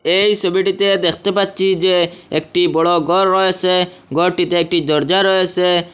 এই ছবিটিতে দেখতে পাচ্ছি যে একটি বড় ঘর রয়েসে ঘরটিতে একটি দরজা রয়েসে ।